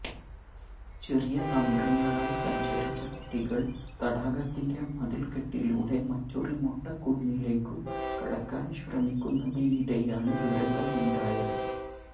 ചെറിയ സംഘങ്ങളായി സഞ്ചരിച്ച കുട്ടികൾ തടാകത്തിന്റെ മതിൽക്കെട്ടിലൂടെ മറ്റൊരു മൊട്ടക്കുന്നിലേക്കു കടക്കാൻ ശ്രമിക്കുന്നതിനിടെയാണ് ദുരന്തമുണ്ടായത്